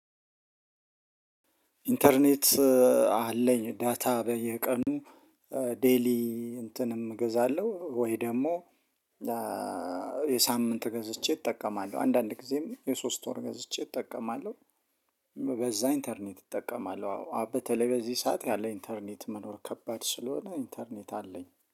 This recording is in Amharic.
ኢንተርኔት አለኝ ዳታ በየቀኑ ዴይሊ እንትንም እገዛለሁ ወይ ደግሞ የሳምንት ገዝቼ እጠቀማለሁ። አንዳንድ ጊዜም የሶስት ወር ገዝቼ እጠቀማለሁ በዛ ኢንተርኔት እጠቀማለሁ። አዎ በተለይ በዚህ ሰዓት ያለ ኢንተርኔት መኖር ከባድ ስለሆነ ኢንተርኔት አለኝ